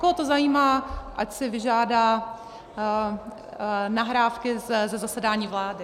Koho to zajímá, ať si vyžádá nahrávky ze zasedání vlády.